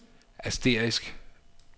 asterisk